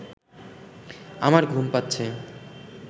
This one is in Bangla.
আমার ঘুম পাচ্ছে